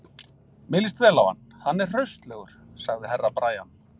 Mér líst vel á hann, hann er hraustlegur, sagði Herra Brian.